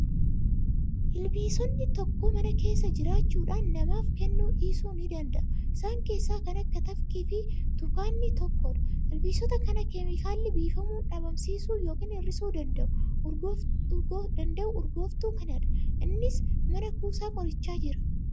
Ilbiisonni tokko mana keessa jiraachuudhaan namaaf kennuu dhiisuu ni danda'u. Isaan keessaa kan akka tafkii fi tukaanii tokkodha. Ilbiisota kana keemikaalli biifamuun dhabamsiisuu yookiin hir'isuu danda'u urgooftuu kanadha. Innis mana kuusaa qorichaa jira.